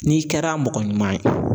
N'i kɛra mɔgɔ ɲuman ye